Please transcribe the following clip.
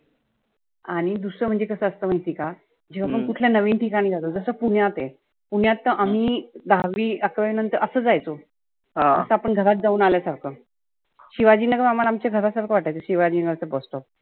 आणि दुसरं म्हणजे कस असतं माहिती आहे का? जेव्हा कुठल्या नविन ठिकाणी जातो, जसं पुण्यात आहे. पुण्यात तर आम्ही दहावी अकरावी नंतर तर असं जायचो . जसं आपण घरात जाऊन आल्या सारख. शिवाजीनाका आम्हाला आमच्या घरासारख वाटायचं. शिवाजीनाका चं bus stop